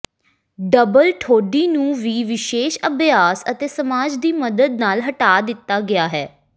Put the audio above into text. double ਠੋਡੀ ਨੂੰ ਵੀ ਵਿਸ਼ੇਸ਼ ਅਭਿਆਸ ਅਤੇ ਮਸਾਜ ਦੀ ਮਦਦ ਨਾਲ ਹਟਾ ਦਿੱਤਾ ਗਿਆ ਹੈ